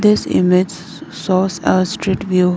this image shows uh street view.